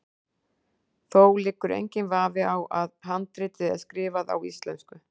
Þó liggur enginn vafi á að handritið er skrifað á íslensku.